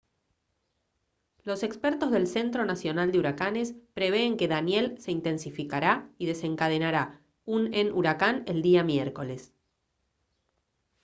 los expertos del centro nacional de huracanes prevén que danielle se intensificará y desencadenará un en huracán el día miércoles